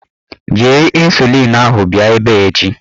Jiri ịnsulịn ahụ bịa ebe a echi!